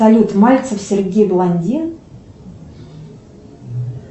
салют мальцев сергей блондин